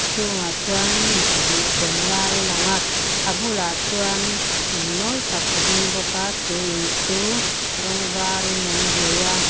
chhungah chuan mi pahnih cheng lai a lang a a bulah chuan in mawi tak a ding bawk a chu in chu rawng var in an hnawih a.